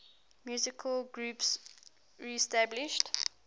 musical groups reestablished